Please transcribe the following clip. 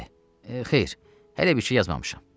Bəli, xeyr, hələ bir şey yazmamışam.